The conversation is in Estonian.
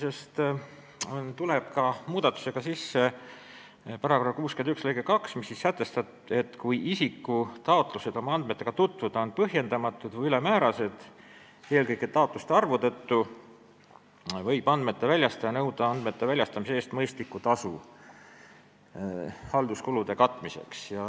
Selle seadusmuudatusega tuleb sisse ka § 61 lõige 2, mis sätestab, et kui isiku taotlused oma andmetega tutvuda on põhjendamatud või ülemäärased eelkõige taotluste korduvuse tõttu, võib andmete väljastaja nõuda andmete väljastamise eest mõistlikku tasu halduskulude katmiseks.